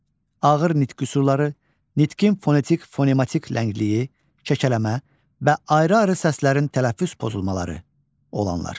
ağır nitq qüsurları, nitqin fonetik-fonematik ləngliyi, kəkələmə və ayrı-ayrı səslərin tələffüz pozulmaları olanlar.